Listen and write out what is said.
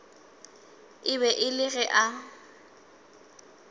be e le ge a